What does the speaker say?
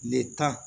Ne ta